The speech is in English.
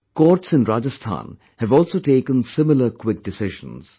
Courts in Rajasthan have also taken similar quick decisions